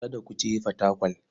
Kada ku je Fatakwal.